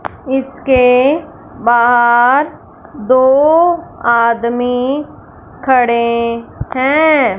इसके बाहर दो आदमी खड़े हैं।